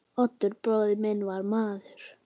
Oddur bróðir minn var maður.